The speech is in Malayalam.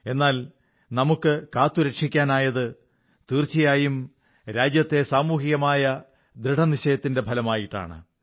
എന്നാൽ നമുക്കു കാത്തുരക്ഷിക്കാനായത് തീർച്ചയായും രാജ്യത്തെ സാമൂഹികമായ ദൃഢനിശ്ചയത്തിന്റെ ഫലമായിട്ടാണ്